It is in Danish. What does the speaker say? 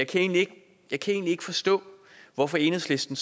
kan egentlig ikke forstå hvorfor enhedslisten